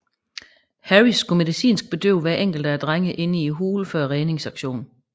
Harris skulle medicinsk bedøve hver enkelt af drengene inde i hulen før redningsaktionen